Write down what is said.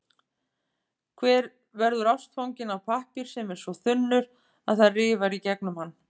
Hver verður ástfanginn af pappír sem er svo þunnur, að það rifar í gegnum hann?